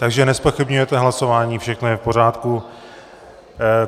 Takže nezpochybňujete hlasování, všechno je v pořádku.